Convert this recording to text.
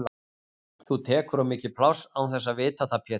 Þú tekur of mikið pláss án þess að vita það Pétur!